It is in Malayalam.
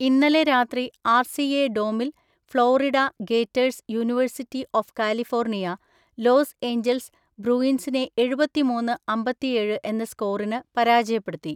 ഇന്നലെ രാത്രി ആർസിഎ ഡോമിൽ Florida Gators University of California, Los Angeles ബ്രൂയിൻസിനെ എഴുപത്തിമൂന്ന്, അമ്പതിയേഴ് എന്ന സ്‌കോറിന് പരാജയപ്പെടുത്തി.